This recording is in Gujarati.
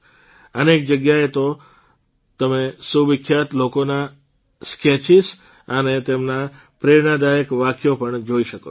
અનેક જગ્યાએ તો તમે સુવિખ્યાત લોકોના સ્કેચીજ અને તેમના પ્રેરણાદાયક વાક્યો પણ જોઇ શકો છો